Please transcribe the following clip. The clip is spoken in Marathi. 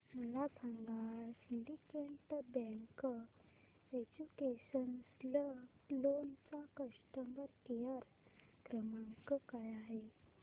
मला सांगा सिंडीकेट बँक एज्युकेशनल लोन चा कस्टमर केअर क्रमांक काय आहे